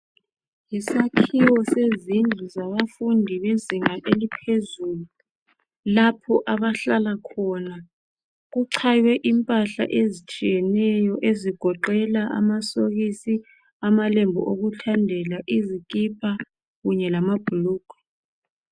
Yisakhiwo sezindlu zabafundi bezinga eliphezulu lapho abahlala khona , kuchaywe impahla ezitshiyeneyo ezigoqela amasokisi, amalembu okuthandela, izikipa kunye lamabhulugwe.